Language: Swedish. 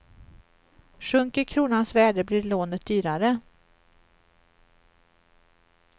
Sjunker kronans värde blir lånet dyrare.